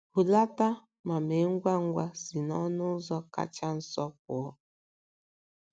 Hulata ma mee ngwa ngwa si n’ọnụ ụzọ kacha nso pụọ.